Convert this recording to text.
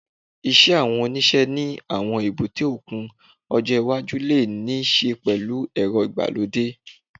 Iṣẹ́ àwọn òṣìṣẹ́ ní àwọn èbúté òkun ọjọ́ iwájú lè ní í ṣe pẹ̀lú ẹ̀rọ ìgbàlódé